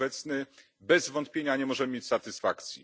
r. a obecnym, bez wątpienia nie możemy mieć satysfakcji.